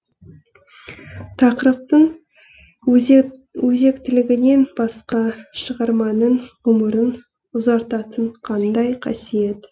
тақырыптың өзектілігінен басқа шығарманың ғұмырын ұзартатын қандай қасиет